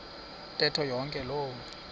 ntetho yonke loo